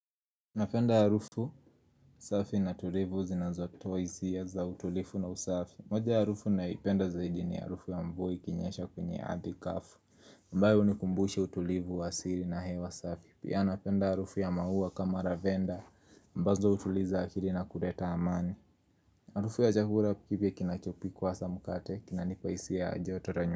Napenda harufu, safi na tulivu zinazotoa hisia za utulivu na usafi moja ya harufu ninayoipenda zaidi ni harufu ya mvua ikinyesha kwenye ardhi kavu ambayo hunikumbusha utulivu wa siri na hewa safi Pia napenda harufu ya maua kama lavenda ambazo hutuliza akili na kuleta amani harufu ya chakula kipya kinachopikwa hasa mkate kinanipa hisia ya joto la.